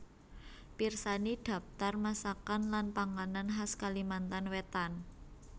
Pirsani Dhaptar masakan lan panganan khas Kalimantan Wétan